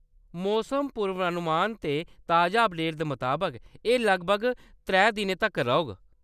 मौसम पूर्वानुमान ते ताजा अपडेट दे मताबक, एह्‌‌ लगभग त्रै दिनें तक्कर रौह्‌‌‌ग।